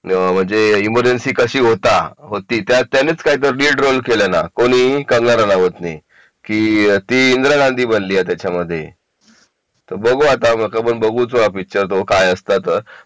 म्हणजे इमर्जन्सी कशी होता होती त्यांनीच काहीतरी दीड रोल केलं ना कोणी कंगना राणावत नाही ती इंदिरा गांधी बनली आहे त्याच्यामध्ये तर बघू आता मका पण बघूच पिक्चर तो काय असतो तर